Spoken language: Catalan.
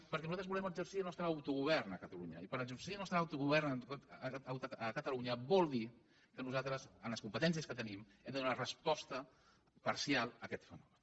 perquè nosaltres volem exercir el nostre autogovern i per a exercir el nostre autogovern a catalunya vol dir que nosaltres amb les competències que tenim hem de donar resposta parcial a aquest fenomen